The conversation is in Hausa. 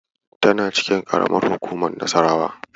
Tana cikin karamar hukumar Nassarawa.